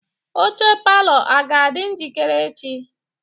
Oche palọ a ga-adị njikere echi?